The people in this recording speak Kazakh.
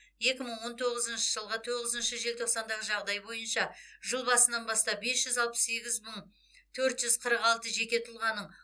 екі мың он тоғызыншы жылғы тоғызыншы желтоқсандағы жағдай бойынша жыл басынан бастап бес жүз алпыс сегіз мың төрт жүз қырық алты жеке тұлғаның